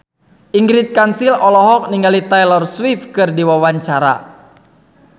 Ingrid Kansil olohok ningali Taylor Swift keur diwawancara